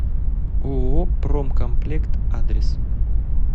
ооо промкомплект адрес